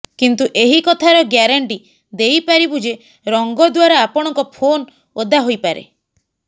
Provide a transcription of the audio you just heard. କିନ୍ତୁ ଏହି କଥାର ଗ୍ୟାରେଣ୍ଟି ଦେଇପାରିବୁ ଯେ ରଙ୍ଗ ଦ୍ବାରା ଆପଣଙ୍କ ଫୋନ ଓଦା ହୋଇପାରେ